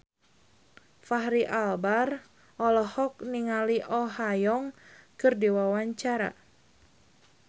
Fachri Albar olohok ningali Oh Ha Young keur diwawancara